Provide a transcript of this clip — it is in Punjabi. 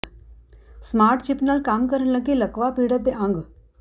ਸਮਾਰਟ ਚਿੱਪ ਨਾਲ ਕੰਮ ਕਰਨ ਲੱਗੇ ਲਕਵਾ ਪੀੜਤ ਦੇ ਅੰਗ